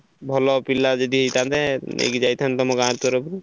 ଭଲ ପିଲା ଯଦି ହେଇଥାନ୍ତେ ନେଇକି ଯାଇଥାନ୍ତେ ତମ ଗାଁ ତରଫରୁ।